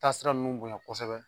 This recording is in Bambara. Taa sira ninnu bon ya kosɛbɛ